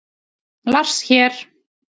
Lars hér!